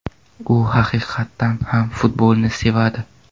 U haqiqatan ham futbolni sevadi.